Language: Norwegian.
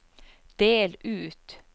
del ut